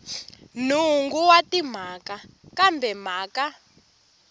nhungu wa timhaka kambe mhaka